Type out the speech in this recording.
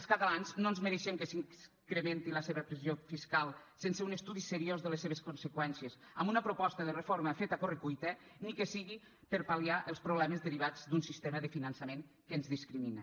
els catalans no ens mereixem que s’incrementi la seva pressió fiscal sense un estudi seriós de les seves conseqüències amb una proposta de reforma feta a correcuita ni que sigui per pal·liar els problemes derivats d’un sistema de finançament que ens discrimina